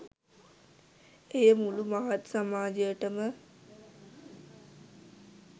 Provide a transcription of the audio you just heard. එය මුළු මහත් සමාජයටම